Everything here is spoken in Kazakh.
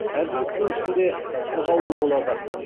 әр жігіттің ішінде сырғауыл болады